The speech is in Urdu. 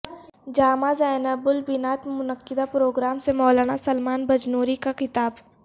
جامعہ زینب للبنات میں منعقدہ پروگرام سے مولانا سلمان بجنوری کا خطاب